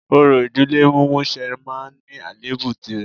Orò ìdílé mímúṣẹ máa ní àléébù tìrẹ